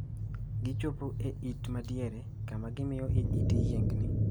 Gichopo e it ma diere, kama gimiyo i it yiegni.